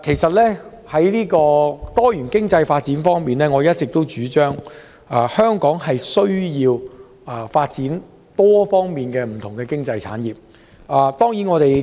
在多元經濟發展方面，我一直主張香港有需要在多方面發展不同經濟產業。